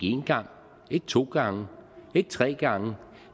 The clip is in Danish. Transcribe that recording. en gang ikke to gange ikke tre gange